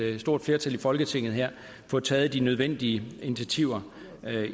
stort flertal i folketinget får taget de nødvendige initiativer